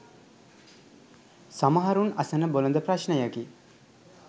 සමහරුන් අසන බොළඳ ප්‍රශ්නයකි.